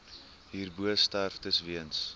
hierbo sterftes weens